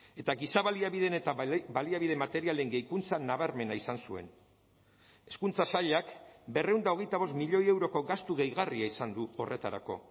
eta giza baliabideen eta baliabide materialen gehikuntza nabarmena izan zuen hezkuntza sailak berrehun eta hogeita bost milioi euroko gastu gehigarria izan du horretarako